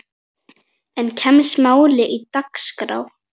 En kemst málið á dagskrá?